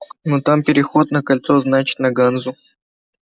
но там переход на кольцо значит на ганзу